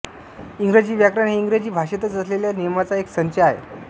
इंग्रजी व्याकरण हे इंग्रजी भाषेतच असलेल्या नियमांचा एक संच आहे